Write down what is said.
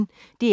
DR P1